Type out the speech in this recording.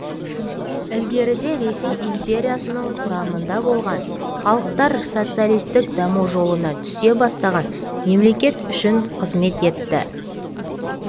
ілгеріде ресей империясының құрамында болған халықтар социалистік даму жолына түсе бастаған мемлекет үшін қызмет етті